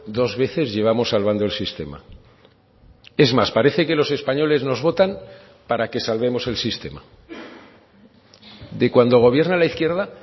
dos veces llevamos salvando el sistema es más parece que los españoles nos votan para que salvemos el sistema de cuando gobierna la izquierda